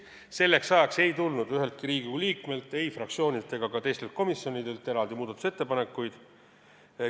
Selleks ajaks ei tulnud üheltki Riigikogu liikmelt, fraktsioonilt ega ka komisjonidelt eraldi muudatusettepanekuid.